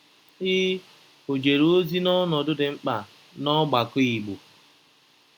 Ị ọ̀ jere ozi n’ọnọdụ dị mkpa n’ọgbakọ Igbo?